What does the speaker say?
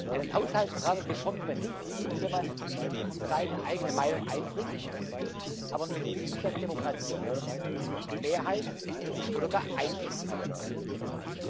Einen Haushaltsrahmen bekommt man nicht hin, wenn man seine eigene Meinung einbringt, aber nicht sieht, dass Demokratie Mehrheit oder gar Einstimmigkeit benötigt.